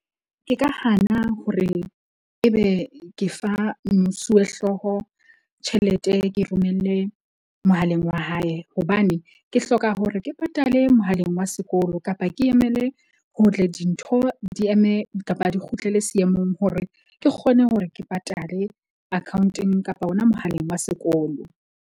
Ke ka hana hore ebe ke fa mosuwehlooho tjhelete ke romelle mohaleng wa hae. Hobane ke hloka hore ke patale mohaleng wa sekolo, kapa ke emele dintho di eme kapa di kgutlele seemong, hore ke kgone hore ke patale akhaonteng kapa hona mohaleng wa sekolo.